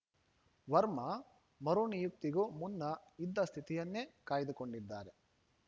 ವರ್ಮಾ ಮರುನಿಯುಕ್ತಿಗೂ ಮುನ್ನ ಇದ್ದ ಸ್ಥಿತಿಯನ್ನೇ ಕಾಯ್ದುಕೊಂಡಿದ್ದಾರೆ